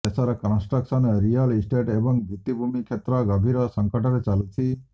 ଦେଶର construction real estate ଏବଂ ଭିତ୍ତିଭୂମି କ୍ଷେତ୍ର ଗଭୀର ସଙ୍କଟରେ ଚାଲୁଛି